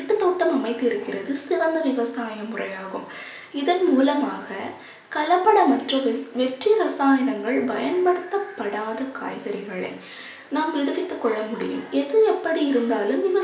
வீட்டுத்தோட்டம் அமைத்திருக்கிறது சிறந்த விவசாய முறையாகும் இதன் மூலமாக கலப்படமற்றது வெற்றி ரசாயனங்கள் பயன்படுத்தப்படாத காய்கறிகளே நாம் விடுவித்துக் கொள்ள முடியும். எது எப்படி இருந்தாலும்